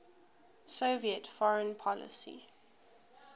soviet foreign policy